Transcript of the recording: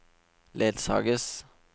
ledsages